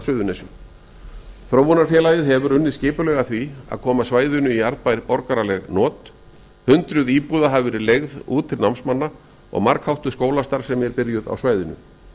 á suðurnesjum þróunarfélagið hefur unnið skipulega að var að koma svæðinu í arðbær borgaraleg not hundraði íbúða hafa verið leigð út til námsmanna og margháttuð skólastarfsemi er byrjuð svæðinu